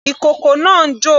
Ìkókó náà ń jò.